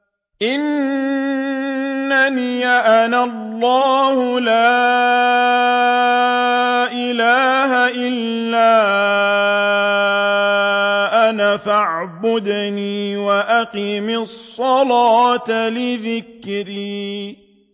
إِنَّنِي أَنَا اللَّهُ لَا إِلَٰهَ إِلَّا أَنَا فَاعْبُدْنِي وَأَقِمِ الصَّلَاةَ لِذِكْرِي